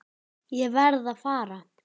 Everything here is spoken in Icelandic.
Ég verð að fara.